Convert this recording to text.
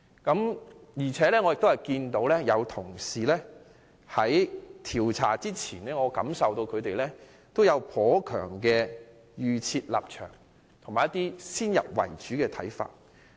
不過，我感到有些同事在調查前已有頗強的預設立場和先入為主的看法。